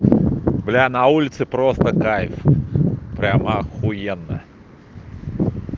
бля на улице просто кайф прям ахуенно